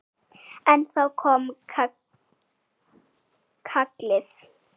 En þá kom kallið.